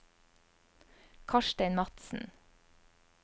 Karstein Madsen